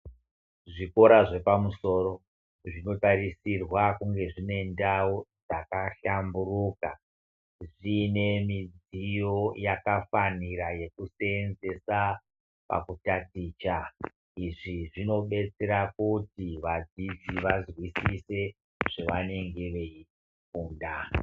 Zvikora zvepamusoro zvinotarisirwa kunge zvine ndau dzakahlamburuka zviine mudziyo yakafanira yekuseenzesa pakutaticha izvi zvinobetsera kuti vadzidzi vazwisise zvevanenge vei funda.